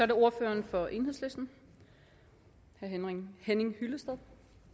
det ordføreren for enhedslisten herre henning henning hyllested